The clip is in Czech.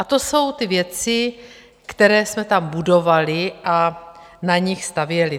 A to jsou ty věci, které jsme tam budovali a na nich stavěli.